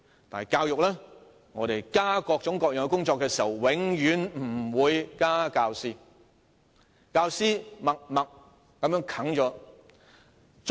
但是，在教育上，政府在增加各種各樣的工作時，永遠不會增加教師數目，教師默默把工作承受。